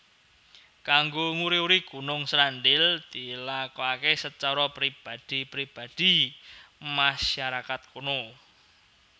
Kanggo nguri uri Gunung Srandil dilakoké secara pribadi pribadi masyarakat kono